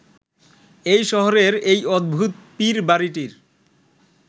এই শহরের এই অদ্ভুত পীরবাড়িটির